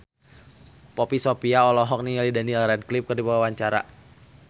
Poppy Sovia olohok ningali Daniel Radcliffe keur diwawancara